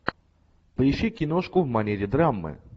поищи киношку в манере драмы